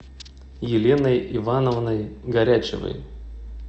еленой ивановной горячевой